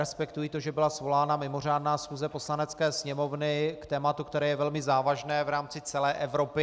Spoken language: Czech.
Respektuji to, že byla svolána mimořádná schůze Poslanecké sněmovny k tématu, které je velmi závažné v rámci celé Evropy.